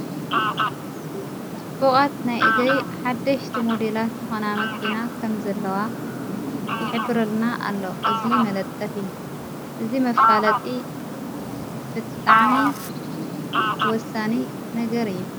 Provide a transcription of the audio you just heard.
ፅቡቓት ናይ እግሪ ሓደሽቲ ሞዲላት ዝኮና መኪና ኸም ዘለዋ ይኅብረልና ኣሎ እዝይ መለጠፊ እዝ መፋለጢ ብጥዕኒ ወሳኒ ነገር እየ::